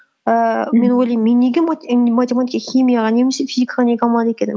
ііі мен ойлаймын мен неге і матемитака химияға немесе физикаға неге алмады екен